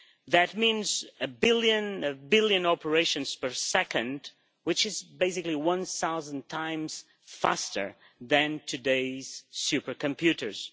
That means a billion operations per second, which is basically one thousand times faster than today's supercomputers.